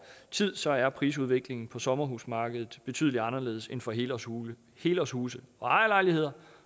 tid så er prisudviklingen på sommerhusmarkedet betydelig anderledes end for helårshuse helårshuse og ejerlejligheder